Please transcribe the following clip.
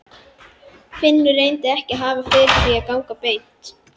Finnur reyndi ekki að hafa fyrir því að ganga beint.